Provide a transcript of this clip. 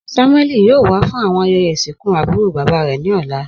Samueli yoo wa fun awọn ayẹyẹ isinku aburo baba rẹ ni ọla.